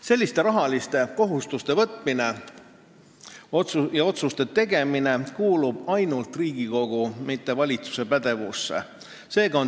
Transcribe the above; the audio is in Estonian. Selliste rahaliste kohustuste võtmine ja asjaomaste otsuste tegemine kuulub ainult Riigikogu, mitte valitsuse pädevusse.